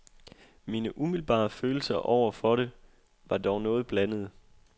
Mine umiddelbare følelser over for det var dog noget blandede.